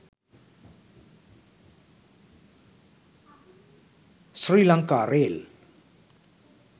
sri lanka rail